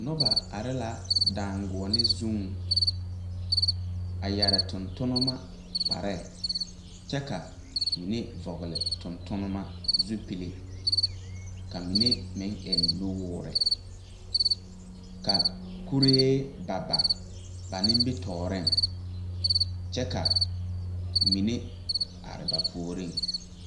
Noba are la daanguone zuŋ a yɛre tontonnema kpareɛɛ kyɛ ka mine vɔgle tontonnema zupile ka mine meŋ eŋ nu woore ka kuree ba ba ba nimitooreŋ kyɛ ka mine are ba puoriŋ.